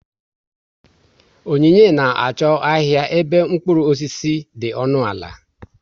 Onyinye na achọ ahịa ebe mkpụrụ osisi dị ọnụ ala